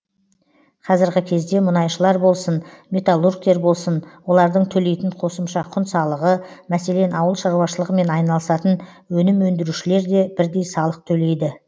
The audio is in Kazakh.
қазіргі кезде мұнайшылар болсын металлургтер болсын олардың төлейтін қосымша құн салығы мәселен ауыл шаруашылығымен айналысатын өнім өндірушілер де бірдей салық төлейді